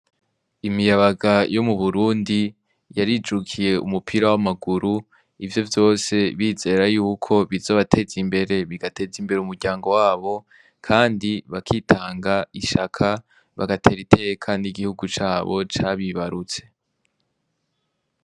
Imiyabaga yo mu Burundi yarijukiye umupira w'amaguru , ivyo vyose bizera yuko bizobateza imbere, bigateza imbere umuryango wabo kandi bakitanga, ishaka, bagatera iteka n'igihugu cabo cabibarutse.